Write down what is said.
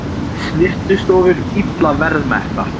Snyrtistofur illa verðmerktar